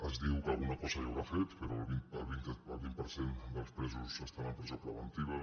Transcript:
es diu que alguna cosa deu haver fet però el vint per cent dels presos estan en presó preventiva